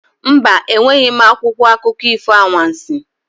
Mba, enweghị m akwụkwọ akụkọ ifo anwansi.